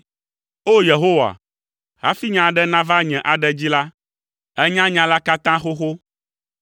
O! Yehowa, hafi nya aɖe nava nye aɖe dzi la, ènya nya la katã xoxo.